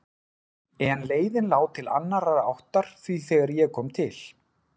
En leiðin lá til annarrar áttar því þegar ég kom til